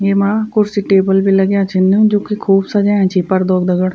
येमा कुर्सी टेबल भी लग्याँ छीन जुकी खूब सजयाँ छि पर्दों दगड़।